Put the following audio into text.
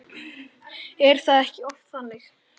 Er það ekki oft þannig?